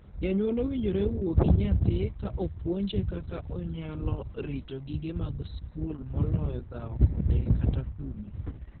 Janyuol owinjore owuo gi nyathi ka opuonje kaka onyalo rito gige mag skul moloyo dhawo kode kata kume.